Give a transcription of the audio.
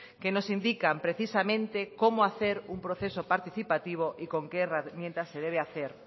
que nos indican precisamente como hacer un proceso participativo y con qué herramientas se debe hacer